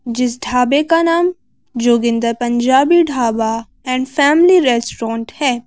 जिस ढाबे का नाम Joginder Punjabi dhaba and family restaurant है।